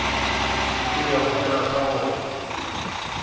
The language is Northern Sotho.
ke bego ke rata go